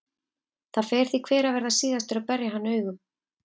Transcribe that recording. Það fer því hver að verða síðastur að berja hann augum.